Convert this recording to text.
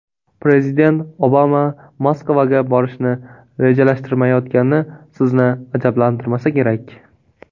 Prezident Obama Moskvaga borishni rejalashtirmayotgani sizni ajablantirmasa kerak.